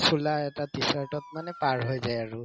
চোলা এটা t-shirt তত মানে পাৰ হৈ যায় আৰু